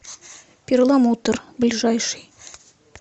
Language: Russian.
перламутр ближайший